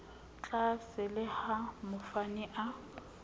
tlaase le ha mofani a